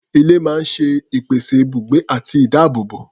Ilé máa ń ṣe ìpèsè ibùgbé àti ìdáàbòbò.